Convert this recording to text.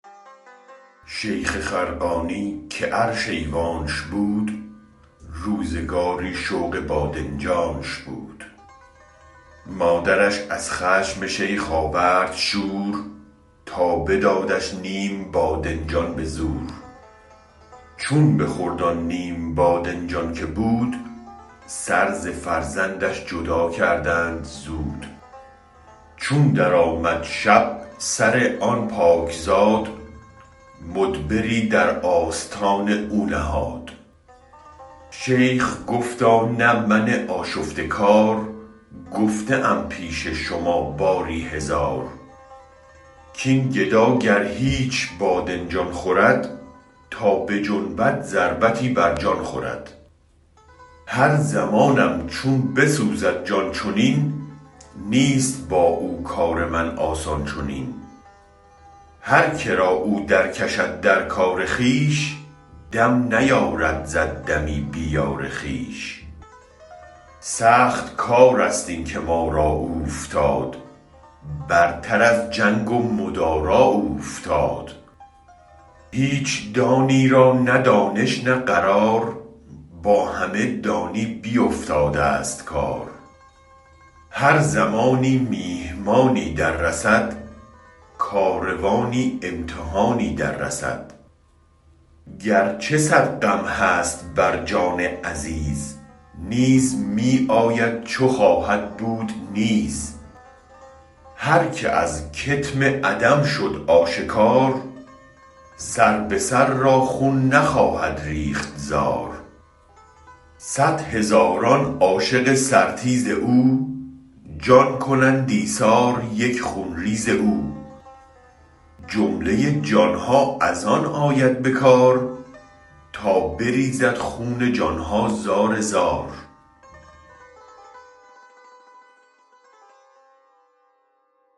شیخ خرقانی که عرش ایوانش بود روزگاری شوق بادنجانش بود مادرش از خشم شیخ آورد شور تا بدادش نیم بادنجان به زور چون بخورد آن نیم بادنجان که بود سر ز فرزندش جدا کردند زود چون درآمد شب سر آن پاک زاد مدبری در آستان او نهاد شیخ گفتا نه من آشفته کار گفته ام پیش شما باری هزار کین گدا گر هیچ بادنجان خورد تا بجنبد ضربتی بر جان خورد هر زمانم چون بسوزد جان چنین نیست با او کار من آسان چنین هرکرا او در کشد در کار خویش دم نیارد زد دمی بی یار خویش سخت کارست این که ما را اوفتاد برتراز جنگ و مدارا اوفتاد هیچ دانی را نه دانش نه قرار با همه دانی بیفتادست کار هر زمانی میهمانی در رسد کاروانی امتحانی در رسد گرچه صد غم هست بر جان عزیز نیز می آید چو خواهد بود نیز هرکه از کتم عدم شد آشکار سر به سر را خون نخواهد ریخت زار صد هزاران عاشق سر تیز او جان کنند ایثار یک خون ریز او جمله جانها از آن آید به کار تا بریزد خون جانها زار زار